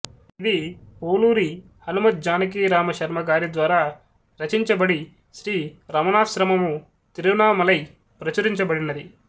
ఇది పోలూరి హనుమజ్జానకీరామశర్మ గారిద్వారా రచించబడి శ్రీ రమణాశ్రమము తిరువణ్ణామలై ప్రచురించబడినది